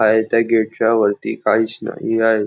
आहे त्या गेट च्या वरती काहीच नाही आहे.